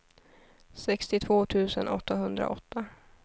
sextiotvå tusen åttahundraåtta